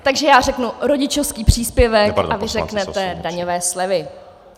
Takže já řeknu, rodičovský příspěvek a vy řeknete daňové slevy.